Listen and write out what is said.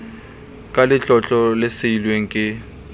ka letlotlo le siilweng ke